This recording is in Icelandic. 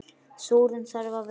Súrinn þarf að vera hress!